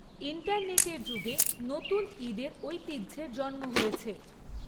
ইন্টারনেটের যুগে নতুন ঈদের ঐতিহ্যের জন্ম হয়েছে।